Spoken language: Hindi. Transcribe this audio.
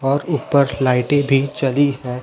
और ऊपर लाइटें भी जली है।